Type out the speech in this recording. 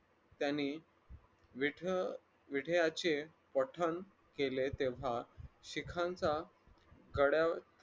त्याने विठ विठ्याचे पठण केले तेव्हा शिखांचा कड्यावर